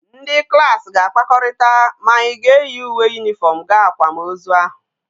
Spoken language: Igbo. Ndi klas ga akpakorita ma anyi ga eyi uwe uniform gaa akwam ozu ahu